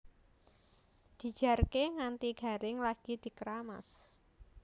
Dijarké nganti garing lagi dkeramas